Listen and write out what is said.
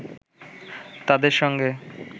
তাদের সঙ্গে